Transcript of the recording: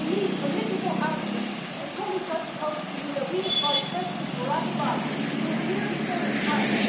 We need political answers and, colleagues, I propose to you that we invite President Barrack Obama to appear before this House.